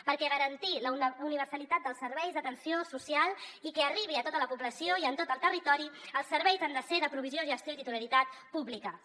perquè per garantir la universalitat dels serveis d’atenció social i que arribin a tota la població i en tot el territori els serveis han de ser de provisió gestió i titularitat públiques